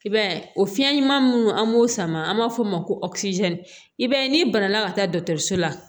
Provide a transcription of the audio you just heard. I b'a ye o fiɲɛ ɲuman an b'o sama an b'a fɔ o ma ko i b'a ye n'i banana ka taa la